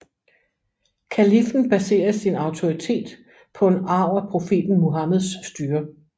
Kaliffen baserer sin autoritet på en arv af profeten Muhammeds styre